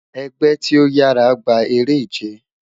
Ẹgbẹ ti o yara gba ere-ije